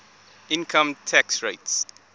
income tax rates